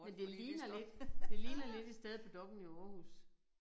Men det ligner lidt det ligner lidt et sted på Dokk1 i Aarhus